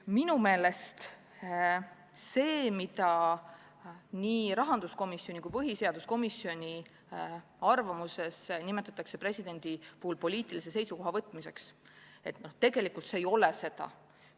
Minu meelest see, mida nii rahanduskomisjoni kui põhiseaduskomisjoni arvamuses nimetatakse presidendi poolt poliitilise seisukoha võtmiseks, tegelikult see ei ole seda.